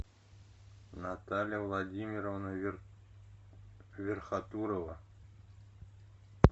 наталья владимировна верхотурова